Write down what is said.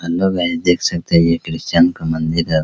हमलोग यहां देख सकते है ये क्रिश्चियन का मंदिर है।